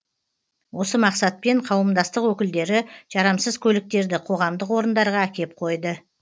осы мақсатпен қауымдастық өкілдері жарамсыз көліктерді қоғамдық орындарға әкеп қойды